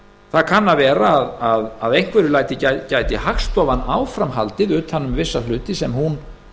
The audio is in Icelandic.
það kann að vera að að einhverju leyti gæti hagstofan áfram haldið utan um vissa hluti sem hún